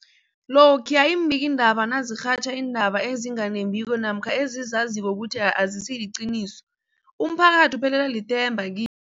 Lokhuya iimbikiindaba nazirhatjha iindaba ezinga nembiko namkha ezizaziko ukuthi azisiliqiniso, umphakathi uphelelwa lithemba ki